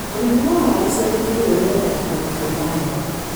ũrĩmi wa waru ciagĩthiũrũri wendaga kũndũ kwĩna heho.